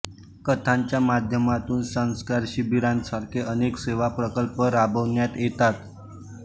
कथांच्या माध्यमातून संस्कार शिबिरांसारखे अनेक सेवा प्रकल्प राबवण्यात येतात